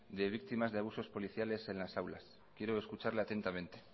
de víctimas de abusos policiales en las aulas quiero escucharle atentamente